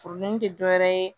Furudimi tɛ dɔwɛrɛ ye